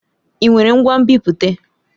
Ị nwere ngwa nbipute?